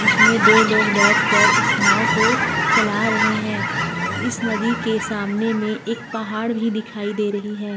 जिसमें दो लोग बैठकर उस नाव को चला रहे हैं इस नदी के सामने में एक पहाड़ भी दिखाई दे रही हैं।